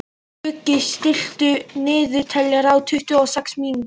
Skuggi, stilltu niðurteljara á tuttugu og sex mínútur.